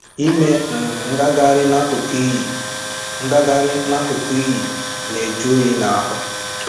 Ịme um ngagharị n'akụkụ iyi ngagharị n'akụkụ iyi na-ajụ oyi n'ahụ